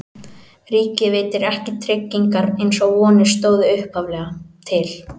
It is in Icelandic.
Ríkið veitir ekki tryggingar eins og vonir stóðu upphaflega til.